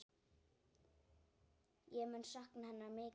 Ég mun sakna hennar mikið.